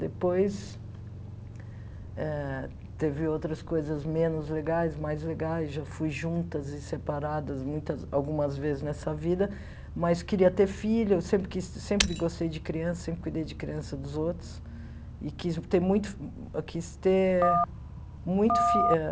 Depois, ah teve outras coisas menos legais, mais legais, já fui juntas e separadas muitas algumas vezes nessa vida, mas queria ter filho, sempre quis sempre gostei de criança, sempre cuidei de criança dos outros, e quis ter muito quis ter muito fi eh...